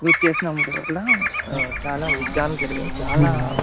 నువ్వు చేసినవాటి వాళ్ళ చాల యుద్ధాలు జరిగాయి. చాలా--